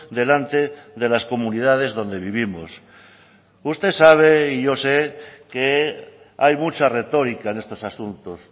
delante de las comunidades donde vivimos usted sabe y yo sé que hay mucha retórica en estos asuntos